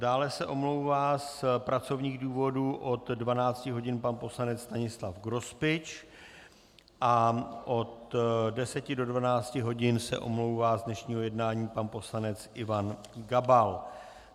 Dále se omlouvá z pracovních důvodů od 12 hodin pan poslanec Stanislav Grospič a od 10 do 12 hodin se omlouvá z dnešního jednání pan poslanec Ivan Gabal.